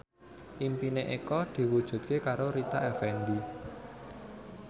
impine Eko diwujudke karo Rita Effendy